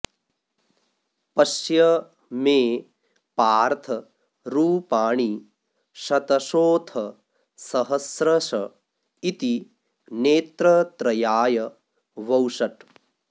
पश्य मे पार्थ् रूपाणि शतशोऽथ सहस्रश इति नेत्रत्रयाय वौषट्